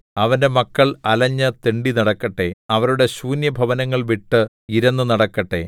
അവന്റെ മക്കൾ അലഞ്ഞ് തെണ്ടിനടക്കട്ടെ അവരുടെ ശൂന്യഭവനങ്ങൾ വിട്ട് ഇരന്നു നടക്കട്ടെ